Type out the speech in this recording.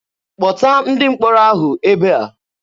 Kpọta ndị mkpọrọ ahụ ebe a!